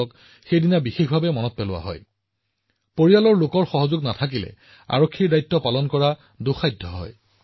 যদিও ২০১৪ চনত সংখ্যাটো ১ লাখ ৫ হাজাৰৰ ওচৰত আছিল ই ২০২০ চনলৈ দুগুণতকৈও অধিক হৈছে আৰু এতিয়া ২ লাখ ১৫ হাজাৰত উপনীত হৈছে